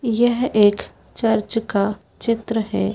यह एक चर्च का चित्र है।